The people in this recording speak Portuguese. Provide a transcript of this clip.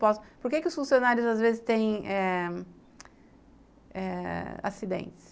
Por que que os funcionários às vezes têm eh eh acidentes?